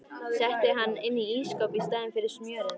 Setti hann inn í ísskáp í staðinn fyrir smjörið.